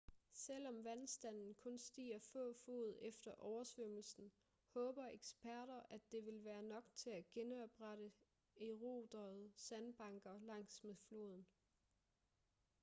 selvom vandstanden kun stiger få fod efter oversvømmelsen håber eksperter at det vil være nok til at genoprette eroderede sandbanker langs med floden